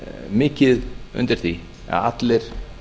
mikið undir því að allir